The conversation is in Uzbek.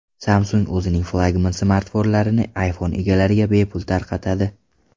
Samsung o‘zining flagman smartfonlarini iPhone egalariga bepul tarqatadi.